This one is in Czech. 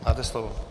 Máte slovo.